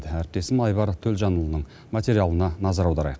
әріптесім айбар төлжанұлының материалына назар аударайық